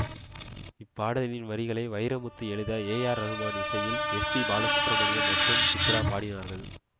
இப்பாடலின் வரிகளை வைரமுத்து எழுத ரகுமான் இசையில் எஸ்பிபாலசுப்ரமணியம் மற்றும் சித்ரா பாடினார்கள்